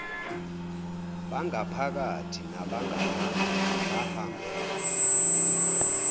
bangaphakathi nabangaphandle bahambela